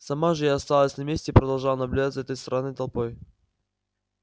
сама же я осталась на месте и продолжала наблюдать за этой странной толпой